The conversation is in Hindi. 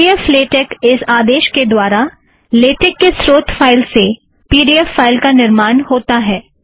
पी ड़ी ऐफ़ लेटेक इस आदेश के द्वारा लेटेक के स्रोत फ़ाइल से पी ड़ी ऐफ़ फ़ाइल का निर्माण होता है